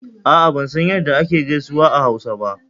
A'a ban san ya da ake gaisuwa a Hausa ba.